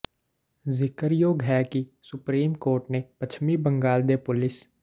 ਜ਼ਿਕਰਯੋਗ ਹੈ ਕਿ ਸੁਪਰੀਮ ਕੋਰਟ ਨੇ ਪੱਛਮੀ ਬੰਗਾਲ ਦੇ ਪੁਲਿਸ